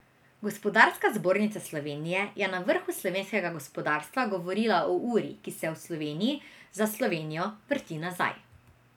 Gospodarska zbornica Slovenije je na vrhu slovenskega gospodarstva govorila o uri, ki se v Sloveniji, za Slovenijo, vrti nazaj.